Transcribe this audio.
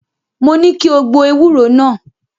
Mo ní kí o gbo ewúro náà.